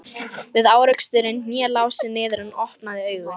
Við áreksturinn hné Lási niður en opnaði augun.